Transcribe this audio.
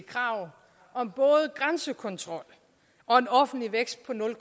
krav om både grænsekontrol og en offentlig vækst på nul